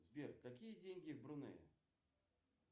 сбер какие деньги в брунее